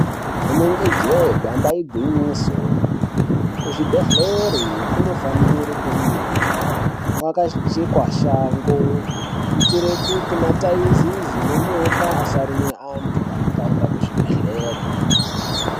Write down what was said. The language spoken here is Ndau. Inenge jee damba igwinyiso kuzvibhedhlera kunofanira kunge kwakachekwa shango kuitira kuti mataizezi nenyoka asaruma antu anenge aenda kuzvibhedhlera.